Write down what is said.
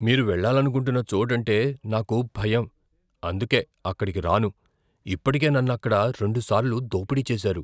మీరు వెళ్లాలనుకుంటున్న చోటంటే నాకు భయం, అందుకే అక్కడికి రాను. ఇప్పటికే నన్నుక్కడ రెండుసార్లు దోపిడీ చేశారు.